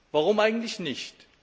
Warum eigentlich nicht?